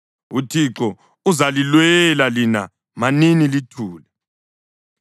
UThixo uzalilwela; lina manini lithule.”